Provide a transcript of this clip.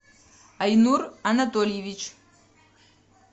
айнур анатольевич